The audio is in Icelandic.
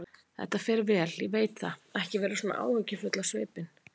Þetta fer vel, ég veit það, ekki vera svona áhyggjufull á svipinn.